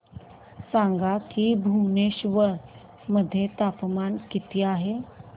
सांगा की भुवनेश्वर मध्ये तापमान किती आहे